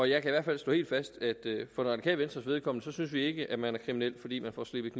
jeg kan i hvert fald slå helt fast at for det radikale venstres vedkommende synes vi ikke man er kriminel fordi man får slebet